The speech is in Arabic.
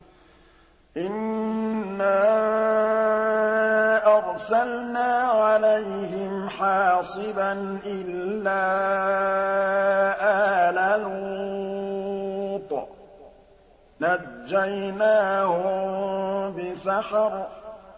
إِنَّا أَرْسَلْنَا عَلَيْهِمْ حَاصِبًا إِلَّا آلَ لُوطٍ ۖ نَّجَّيْنَاهُم بِسَحَرٍ